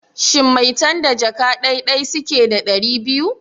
Shin maitan da jaka dai dai suke da ɗari biyu?